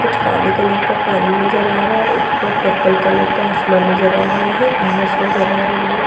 कुछ काले कलर का पानी नज़र आ रहा हैं ऊपर पर्पल कलर का आसमान नज़र आ रहा है घास नज़र आ रही हैं।